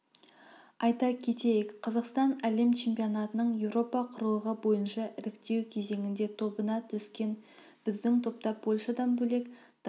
айта кетейік қазақстан әлем чемпионатының еуропа құрлығы бойынша іріктеукезеңіндее тобына түскен біздің топта польшадан бөлек дания черногория армения румыния құрамалары бар